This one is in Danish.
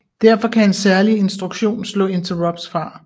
Derfor kan en særlig instruktion slå interrupts fra